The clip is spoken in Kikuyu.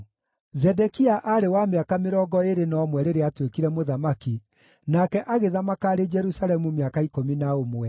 Zedekia aarĩ wa mĩaka mĩrongo ĩĩrĩ na ũmwe rĩrĩa aatuĩkire mũthamaki, nake agĩthamaka arĩ Jerusalemu mĩaka ikũmi na ũmwe.